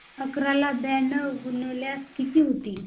अकरा ला ब्याण्णव ने गुणल्यास किती होतील